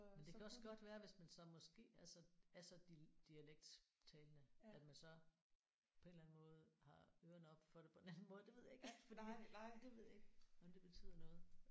Men det kan også godt være hvis man så måske er så er så dialekttalende at man så på en eller anden måde har ørerene oppe for det på en anden måde det ved jeg ikke fordi det ved jeg ikke om det betyder noget